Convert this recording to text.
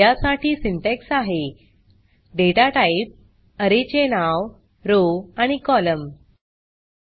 या साठी सिंटॅक्स आहे data टाइप array चे नाव रॉव आणि कोलम्न